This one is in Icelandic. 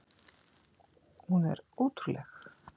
Hún er ótrúleg!